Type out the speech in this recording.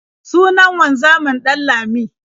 Sunan wanzamin Ɗanlami.